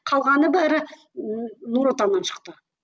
қалғаны бәрі нұр отаннан шықты